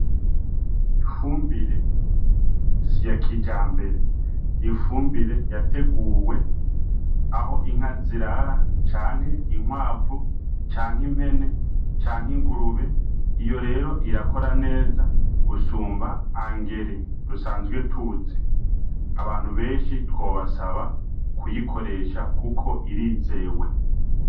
Ifumbire si ya kijambere , ifumbire yateguwe Aho inka zirara , inkwavu canke impene canke ingurube , Iyo rero irakora neza gusumba “engrais” dusanzwe tuzi, abantu benshi twobasaba kuyikoresha Kuko irizewe.